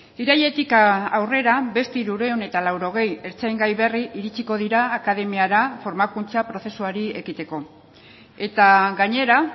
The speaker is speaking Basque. irailetik aurrera beste hirurehun eta laurogei ertzaingai berri iritsiko dira akademiara formakuntza prozesuari ekiteko eta gainera